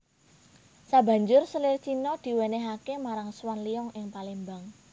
Sabanjuré selir Cina diwènèhaké marang Swan Liong ing Palembang